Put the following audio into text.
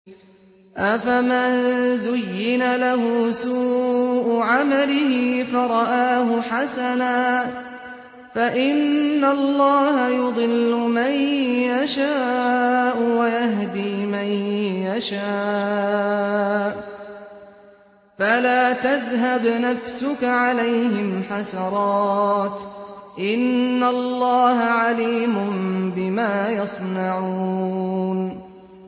أَفَمَن زُيِّنَ لَهُ سُوءُ عَمَلِهِ فَرَآهُ حَسَنًا ۖ فَإِنَّ اللَّهَ يُضِلُّ مَن يَشَاءُ وَيَهْدِي مَن يَشَاءُ ۖ فَلَا تَذْهَبْ نَفْسُكَ عَلَيْهِمْ حَسَرَاتٍ ۚ إِنَّ اللَّهَ عَلِيمٌ بِمَا يَصْنَعُونَ